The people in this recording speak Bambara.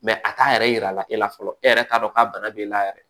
a t'a yɛrɛ yira e la fɔlɔ e yɛrɛ t'a dɔn k'a bana b'e la yɛrɛ